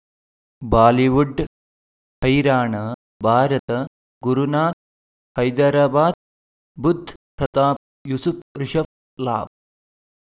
Bollywood ಹೈರಾಣ ಭಾರತ ಗುರುನಾಥ ಹೈದರಾಬಾದ್ ಬುಧ್ ಪ್ರತಾಪ್ ಯೂಸುಫ್ ರಿಷಬ್ ಲಾಭ